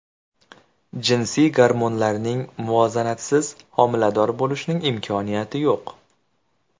Jinsiy gormonlarning muvozanatisiz homilador bo‘lishning imkoniyati yo‘q.